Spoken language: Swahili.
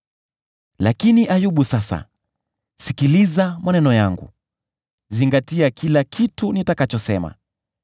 “Lakini Ayubu, sasa, sikiliza maneno yangu; zingatia kila kitu nitakachosema.